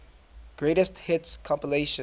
greatest hits compilation